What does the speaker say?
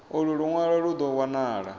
ulu lunwalo lu do wanala